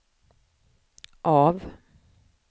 av